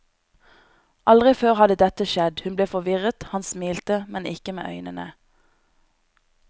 Aldri før hadde dette skjedd, hun ble forvirret, han smilte, men ikke med øynene.